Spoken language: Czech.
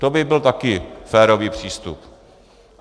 To by byl také férový přístup.